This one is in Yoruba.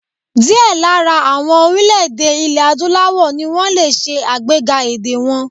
Díẹ̀ lára àwọn orílè-èdè ilè Adúláwọ̀ ni wọ́n lè ṣe àgbéga èdè wọn.